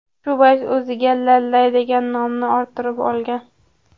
Shu bois o‘ziga Lallay degan nomni orttirib olgan.